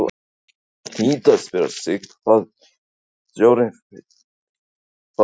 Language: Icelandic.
Maður hlýtur að spyrja sig: Hvað vill stjórn Fylkis fá meira?